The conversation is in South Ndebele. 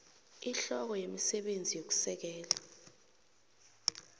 ihloko yemisebenzi yokusekela